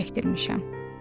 Su çəkdirmişəm.